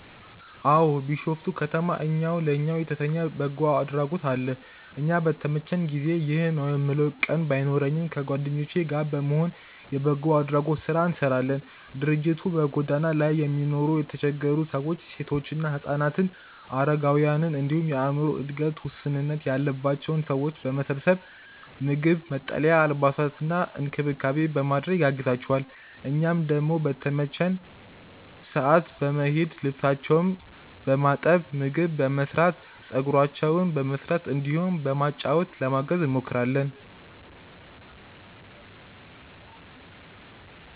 አዎ። ቢሾፍቱ ከተማ እኛው ለእኛው የተሰኘ የበጎ አድራጎት አለ። እዛ በተመቸኝ ጊዜ (ይህ ነው የምለው ቋሚ ቀን ባይኖረኝም) ከጓደኞቼ ጋር በመሆን የበጎ አድራጎት ስራ እንሰራለን። ድርጅቱ በጎዳና ላይ የነበሩ የተቸገሩ ሰዎችን፣ ሴቶችና ህፃናትን፣ አረጋውያንን እንዲሁም የአዕምሮ እድገት ውስንነት ያለባቸውን ሰዎች በመሰብሰብ ምግብ፣ መጠለያ፣ አልባሳትና እንክብካቤ በማድረግ ያግዛቸዋል። እኛም ደግሞ በተመቸን ሰዓት በመሄድ ልብሳቸውን በማጠብ፣ ምግብ በመስራት፣ ፀጉራቸውን በመስራት እንዲሁም በማጫወት ለማገዝ እንሞክራለን።